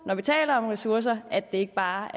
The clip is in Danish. når vi taler om ressourcer ikke bare